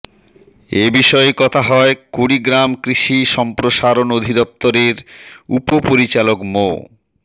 এ বিষয়ে কথা হয় কুড়িগ্রাম কৃষি সম্প্রসারণ অধিদপ্তরের উপপরিচালক মো